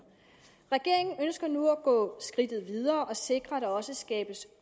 regeringen ønsker nu at gå skridtet videre og sikre at der også skabes